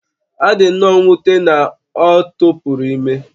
Ọ dị nnọọ mwute na ọ tụpụrụ ime